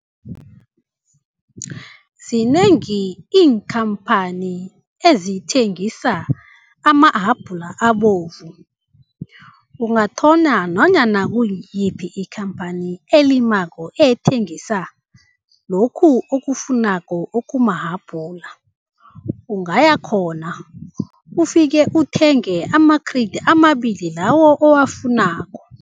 Zinengi iinkhamphani ezithengisa amahabhula abovu, ungathola nanyana kungiyiphi ikhamphani elimako ethengisa lokhu okufunako okumahabhula. Ungayakhona, ufike uthenge ama-crate amabili lawo owufunako.